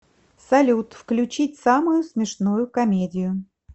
салют включить самую смешную комедию